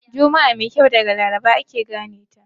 Juma'a mai kyau daga Laraba ake gane ta.